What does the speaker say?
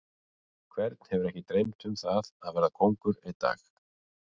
Hvern hefur ekki dreymt um það að verða kóngur einn dag?